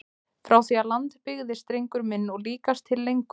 Frá því að land byggðist drengur minn og líkast til lengur!